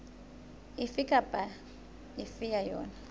efe kapa efe ya yona